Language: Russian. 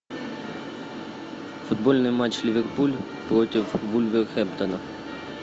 футбольный матч ливерпуль против вулверхэмптона